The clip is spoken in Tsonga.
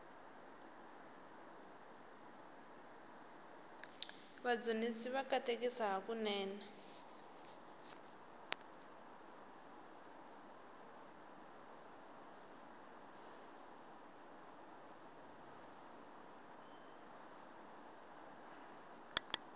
vadzunisi va katekisa hakunene